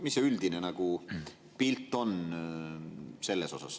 Mis see üldine pilt on?